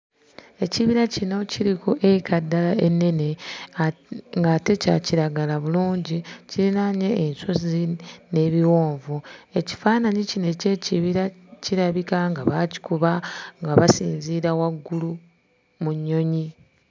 Ekibira kino kiri ku eka ddala ennene. At ng'ate kya kiragala bulungi, kirinaanye ensozi n'ebiwonvu. Ekifaananyi kino eky'ekibira kirabika nga baakikuba nga basinziira waggulu mu nnyonyi.